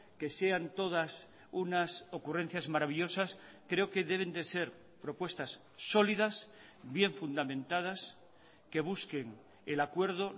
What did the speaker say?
que sean todas unas ocurrencias maravillosas creo que deben de ser propuestas sólidas bien fundamentadas que busquen el acuerdo